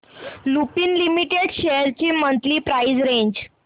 Lupin limited shares ची monthly price range